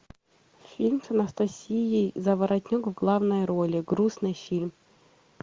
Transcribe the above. фильм с анастасией заворотнюк в главной роли грустный фильм